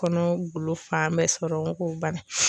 Kɔnɔ golo fan bɛɛ sɔrɔ k'o ban.